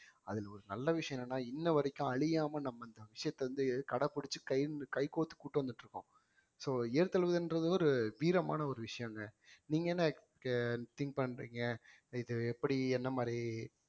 அதில் ஒரு நல்ல விஷயம் என்னன்னா இன்ன வரைக்கும் அழியாம நம்ம இந்த விஷயத்த வந்து கடைபிடிச்சு கை வந்து~ கைகோர்த்து கூட்டிட்டு வந்துட்டிருக்கோம் so ஏறு தழுவுவது என்றது ஒரு வீரமான ஒரு விஷயங்க நீங்க என்ன க~ think பண்றீங்க இது எப்படி என்ன மாதிரி